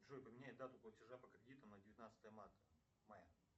джой поменяй дату платежа по кредиту на девятнадцатое марта мая